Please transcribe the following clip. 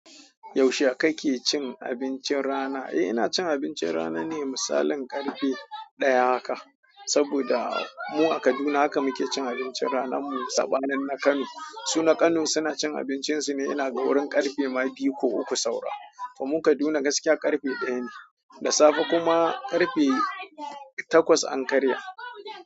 Yaushe kake cin abincin rana? Eh ina cin abincin rana ne, misalin karfe ɗaya haka. Saboda mu a Kaduna haka muke cin abincin ranar mu. Saɓanin na Kano. Su na Kano suna cin abincin su ne inaga wurin karfe ma bayi ko uku saura. To mu Kaduna gaskiya karfe daya ne, da safe kuma karfe takwas an karya.